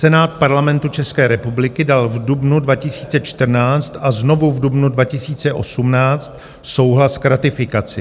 Senát Parlamentu České republiky dal v dubnu 2014 a znovu v dubnu 2018 souhlas k ratifikaci.